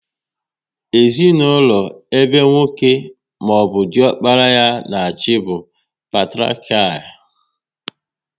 Ezinaụlọ ebe nwoke maọbụ diokpara ya na achị bụ patiriakial